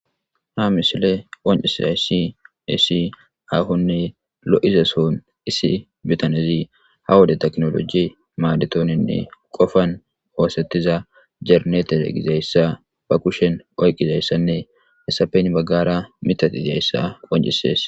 ha misiley qancisaysi iisi ahonne lo7izason issi bitanezi ha wode teknoloji maadetoninne qofan oosettiza jernete gizayssa ba kushen oyqizayssanne hessapeyin baggara mitati iziyayssa qoncisees